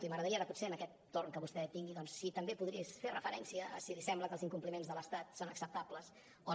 i m’agradaria ara potser en aquest torn que vostè tingui si també pogués fer referència a si li sembla que els incompliments de l’estat són acceptables o no